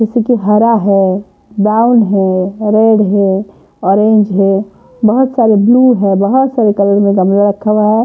जैसे कि हरा है ब्राउन है रेड है ऑरेंज है बहुत सारे ब्लू है बहुत सारे कलर में गमला रखा हुआ है।